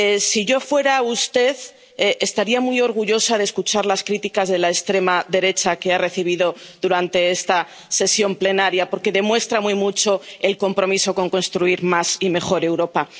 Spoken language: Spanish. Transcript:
Si yo fuera usted estaría muy orgullosa de escuchar las críticas de la extrema derecha que ha recibido durante esta sesión plenaria, porque demuestran muy mucho su compromiso con construir más y mejor Europa.